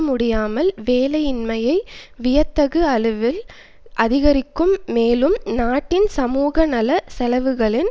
முடியாமல் வேலையின்மையை வியத்தகு அளவில் அதிகரிக்கும் மேலும் நாட்டின் சமூகநல செலவுகளின்